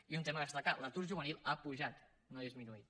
i un tema a destacar l’atur juvenil ha pujat no ha disminuït